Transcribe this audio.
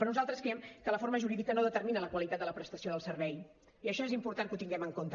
però nosaltres creiem que la forma jurídica no determina la qualitat de la prestació del servei i això és important que ho tinguem en compte